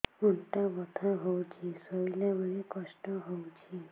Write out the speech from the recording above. ଅଣ୍ଟା ବଥା ହଉଛି ଶୋଇଲା ବେଳେ କଷ୍ଟ ହଉଛି